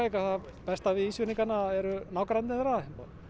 að það besta við Ísfirðinga eru nágrannar þeirra